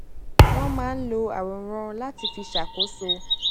wón máa ń lo àwòrán láti fi ṣàkóso